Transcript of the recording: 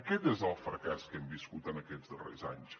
aquest és el fracàs que hem viscut en aquests darrers anys